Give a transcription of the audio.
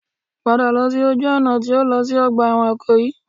Padà lọ sí ojú ọ̀nà tí ó lọ sí ọgbà ẹ̀wọ̀n Ìkòyí